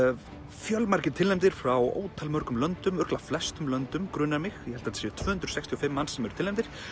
fjölmargir tilnefndir frá ótal mörgum löndum örugglega flestum löndum grunar mig ég held að þetta séu tvö hundruð sextíu og fimm manns sem eru tilnefndir